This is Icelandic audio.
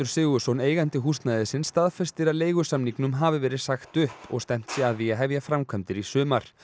Sigurðsson eigandi húsnæðisins staðfestir að leigusamningum hafi verið sagt upp og stefnt sé að því að hefja framkvæmdir í sumar